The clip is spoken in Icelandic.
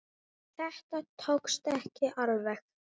Þetta tókst ekki alveg.